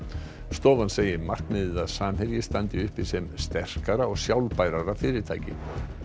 stofan segir markmiðið að Samherji standi uppi sem sterkara og sjálfbærara fyrirtæki